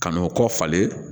Ka n'o kɔ falen